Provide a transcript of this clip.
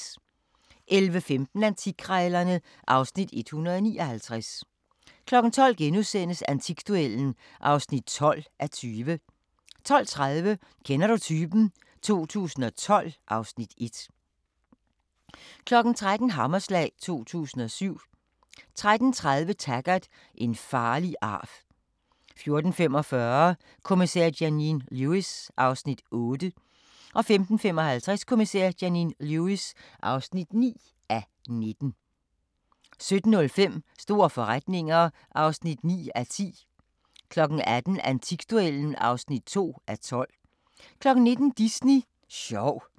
11:15: Antikkrejlerne (Afs. 159) 12:00: Antikduellen (12:20)* 12:30: Kender du typen? 2012 (Afs. 1) 13:00: Hammerslag 2007 13:30: Taggart: En farlig arv 14:45: Kommissær Janine Lewis (8:19) 15:55: Kommissær Janine Lewis (9:19) 17:05: Store forretninger (9:10) 18:00: Antikduellen (2:12) 19:00: Disney sjov